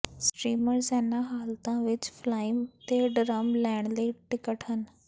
streamers ਇਨ੍ਹਾਂ ਹਾਲਤਾਂ ਵਿਚ ਫਲਾਈਮ ਤੇ ਡਰੱਮ ਲੈਣ ਲਈ ਟਿਕਟ ਹਨ